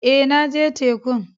Eh, na je tekun.